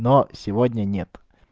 но сегодня нет